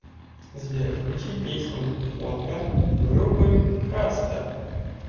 сбер включи песню фотка группы каста